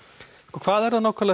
hvað er það nákvæmlega